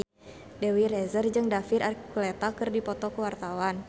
Dewi Rezer jeung David Archuletta keur dipoto ku wartawan